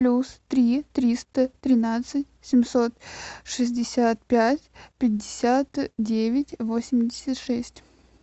плюс три триста тринадцать семьсот шестьдесят пять пятьдесят девять восемьдесят шесть